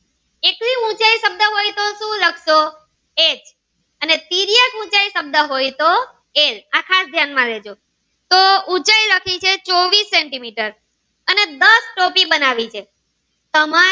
સક્સો એક અને તિર્યક ઉંચાઈ હોય તો એલ આ ખાસ ધ્યાન માં લેજો તો ઉંચાઈ લખી છે ચોવીસ સેન્ટિમીટર અને દસ ટોપી બનાવી છે.